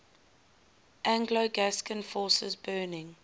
anglo gascon forces burning